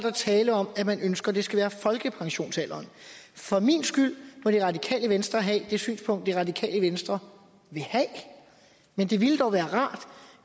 er tale om at man ønsker at det skal være folkepensionsalderen for min skyld må det radikale venstre have det synspunkt det radikale venstre vil have men det ville dog være rart